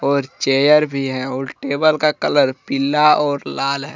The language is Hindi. और चेयर भी हैं और टेबल का कलर पिल्ला और लाल है।